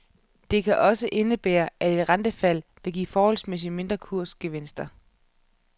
Det kan også indebære, at et rentefald vil give forholdsmæssigt mindre kursgevinster.